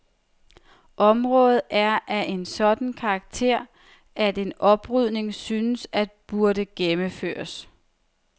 Området er af en sådan karakter, at en oprydning synes at burde gennemføres.